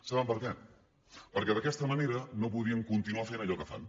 saben per què perquè d’aquesta manera no podrien continuar fent allò que fan